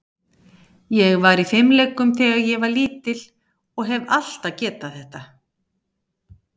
Ég var í fimleikum þegar ég var lítill og hef alltaf getað þetta.